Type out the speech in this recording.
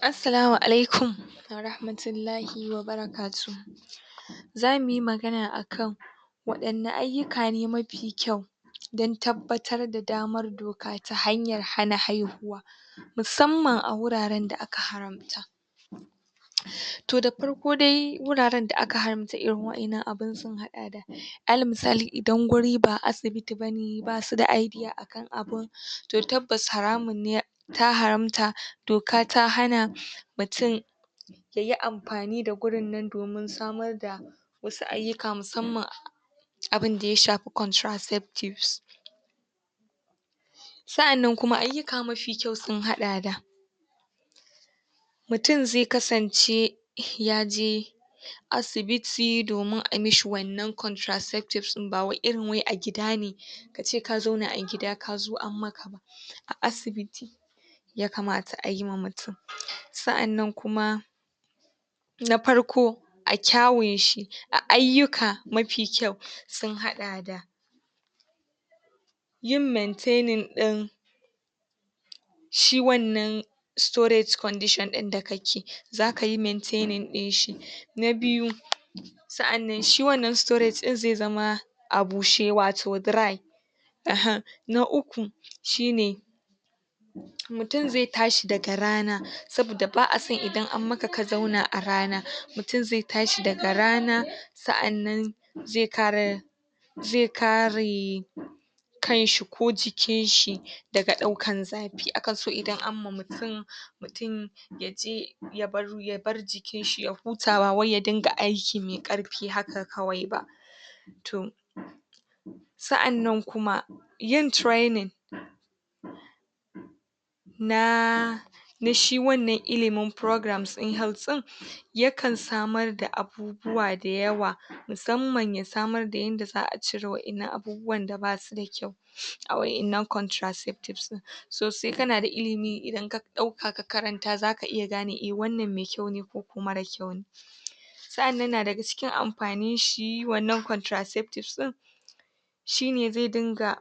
Assalamu alaikum wa rahmatullahi wa barakatuhu zamu yi magana akan waɗanne ayyuka ne mafi kyau don tabbatar da damar doka ta hanyar hana haihuwa, musamman a wuraren da aka haramta to da farko dai wuraren da aka haramta irin wa’innan abin sun haɗa da alal misali idan guri ba asibiti ba ne basu da idea akan abin, to tabbas haramun ne ta haramta doka ta hana mutum ya yi amfani da gurin nan domin samar da wasu ayyuka musamman abin da ya shafi contraceptives, sa’annan kuma ayyuka mafi kyau sun haɗa da mutum zai kasance ya je asibiti domin a mishi wannan contraceptives ɗin ba wai irin wai a gida ne, ka ce ka zauna a gida ka zo an maka a asibiti yakamata a yiwa mutum sa’annan kuma na farko a kyawun shi a ayyuka mafi kyau sun haɗa da yin maintaining ɗin shi wannan storage condition ɗin da ka ke zaka yi maitaining ɗin shi na biyu a’annan shi wannan storage zai zama a bushe wato dry [uhum] na uku shi ne mutum zai tashi daga rana saboda ba a so idan an maka ka zauna a rana mutum zai tashi daga rana sa’annan zai kare zai kare kanshi ko jikinshi daga ɗaukar zafi akan so idan an ma mutum tun ya ji ya bar jikinshi ya huta ba wai ya dinga aiki mai ƙarfi haka kawai ba to sa’annan kuma yin training na na shi wannan ilimin programs ɗin health ɗin yakan samar da abubuwa da yawa musamman ya samar da yadda za a cire wa’innan abubuwan da basu da kyau a wa’innan contraceptives ɗin, so sai kana da ilimi idan ka ɗauka ka karanta zaka gane wannan mai kyau ne ko mara kyau ne sa’annan na daga cikin amfanin shi wannan contraceptives ɗin shi ne zai dinga